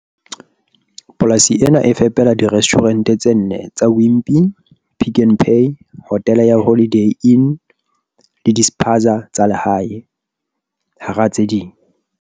Polasi ena e fepela dire stjhurente tse nne tsa Wimpy, Pick n Pay, hotele ya Holiday Inn le dispaza tsa lehae, hara tse ding.